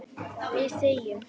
Við þegjum.